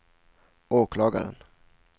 åklagaren